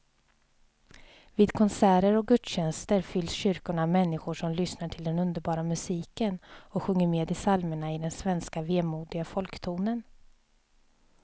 Vid konserter och gudstjänster fylls kyrkorna av människor som lyssnar till den underbara musiken och sjunger med i psalmerna i den svenska vemodiga folktonen.